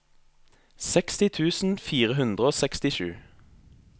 seksti tusen fire hundre og sekstisju